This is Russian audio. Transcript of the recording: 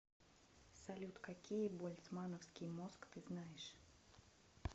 салют какие больцмановский мозг ты знаешь